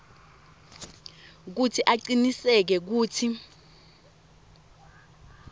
kutsi acinisekise kutsi